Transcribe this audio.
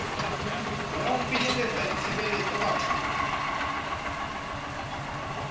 ya ho finyeletsa ditshebeletso bathong